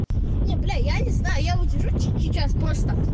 нет я блять не знаю я вот сижу тихий сейчас просто